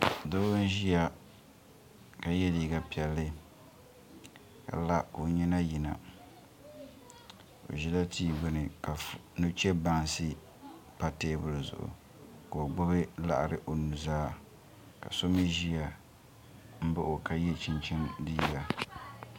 Doo n-ʒiya ka ye liiga piɛlli ka la ka o nyina yina o ʒila tia gbuni ka nuchebansi pa teebuli zuɣu ka o gbubi laɣiri o nuzaa ka so mi ʒiya m-baɣi o ka ye chinchini liiga.